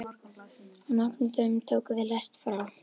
Á nokkrum dögum tókum við lest frá